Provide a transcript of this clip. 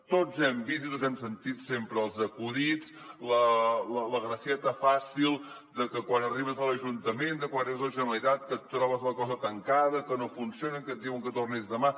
tots hem vist i tots hem sentit sempre els acudits la gracieta fàcil de que quan arribes a l’ajuntament quan arribes a la generalitat que et trobes la cosa tancada que no funciona que et diuen que tornis demà